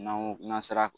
N'an ko n'an sera